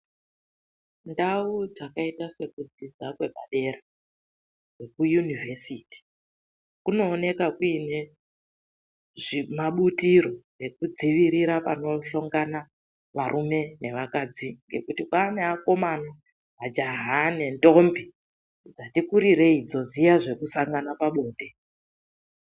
Ndau dzakaita sekudzidza kwe padera, dzeku yunivhesiti. Kunooneka kuine mabutiro ekudzivirira panohlongana varume nevakadzi. Ngekuti kwaa nevakomana, majaha nendombi dzati kurirei voziya zvekusangana pabonde.